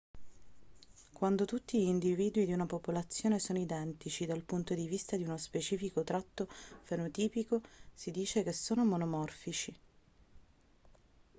quando tutti gli individui di una popolazione sono identici dal punto di vista di uno specifico tratto fenotipico si dice che sono monomorfici